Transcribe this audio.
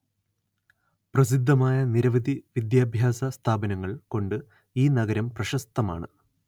പ്രസിദ്ധമായ നിരവധി വിദ്യാഭ്യാസ സ്ഥാപനങ്ങള്‍ കൊണ്ട് ഈ നഗരം പ്രശസ്തമാണ്